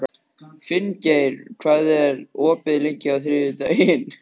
Finngeir, hvað er opið lengi á þriðjudaginn?